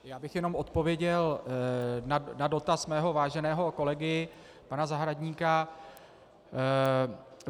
Já bych jenom odpověděl na dotaz svmého váženého kolegy pana Zahradníka.